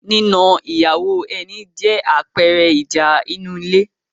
nína ìyàwó ẹni jẹ́ àpẹẹrẹ ìjà inú ilé